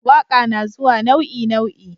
waƙa nazuwa nau'i nau'i